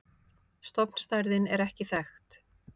Stofnstærðin er ekki þekkt.